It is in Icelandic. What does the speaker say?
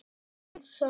Þín, Sara.